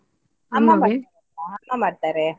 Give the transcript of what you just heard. ಅಮ್ಮ ಮಾಡ್ತಾರೆ.